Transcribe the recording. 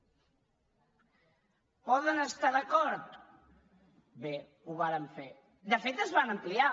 hi poden estar d’acord bé ho varen fer de fet es van ampliar